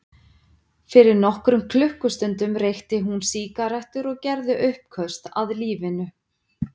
Fyrir nokkrum klukkustundum reykti hún sígarettur og gerði uppköst að lífinu.